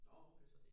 Nårh okay